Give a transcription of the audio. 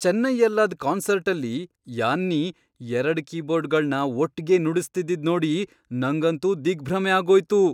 ಚೆನ್ನೈಯಲ್ಲಾದ್ ಕಾನ್ಸರ್ಟಲ್ಲಿ ಯಾನ್ನಿ ಎರಡ್ ಕೀಬೋರ್ಡ್ಗಳ್ನ ಒಟ್ಗೆ ನುಡಿಸ್ತಿದ್ದಿದ್ ನೋಡಿ ನಂಗಂತೂ ದಿಗ್ಭ್ರಮೆ ಆಗೋಯ್ತು.